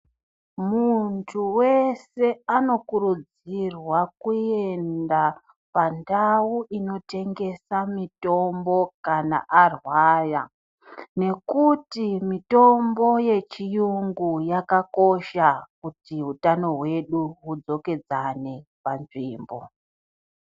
Muntu wese anokurudzirwa kuenda pandau inotengeswa mitombo Kana arwara nekuti mitombo yechirungu yakakosha kuti hutano hwedu hudzokedzani panzvimbo.